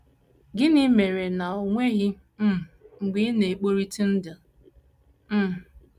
Gịnị mere mere na o nweghị um mgbe ị na - ekporitụ ndụ? um ”